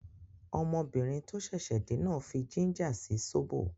Ọmọbìnrin tó ṣẹ̀ṣẹ̀ dé náà fí jínjà sí sóbò